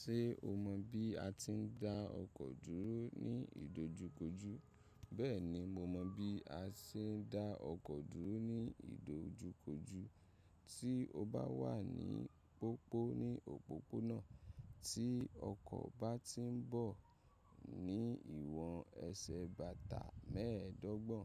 Ṣé o mọ̀ bí a ti ń dá ọkọ̀ dúró ní ìdojúkojú? Bẹ́ẹ̀ni, mo mọ̀ bí a ṣe ń dá ọkọ̀ dúró ní ìdojúkojú. Tí o bá wà ní pòpó ní òpópónà, tí ọkọ̀ bá ti ń bọ̀ ní ìwọ̀n ẹsẹ̀ bàtà mẹ́ẹ̀ẹ́dọ́gbọ̀n